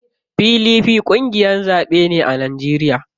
PDP ƙungiyar zaɓe ce a Najeriya.